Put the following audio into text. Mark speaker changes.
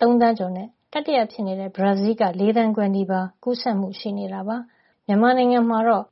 Speaker 1: သန်းကျော်နဲ့ တတိယဖြစ်နေတဲ့ ဘရာဇီးလ်က ၄ သန်းခွဲနီးပါး ကူးစက်မှု ရှိနေတာပါ။ ဥရောပနိုင်ငံတွေမှာတော့